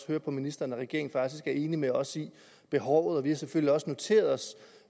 høre på ministeren at regeringen faktisk er enig med os i behovet og vi har selvfølgelig også noteret os